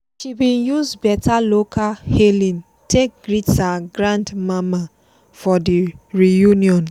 she bin use beta local hailing take greet her grand mama for the reunion.